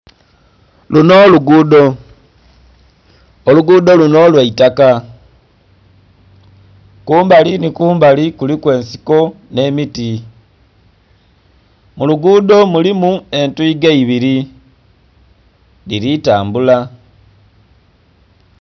Lunho luguudho, olugudho lunho lwaitaka. kumbali nhi kumbali kuliku ensiko nhe miti. Mu lugudho mulimu entuiga ebiri dhili tambula.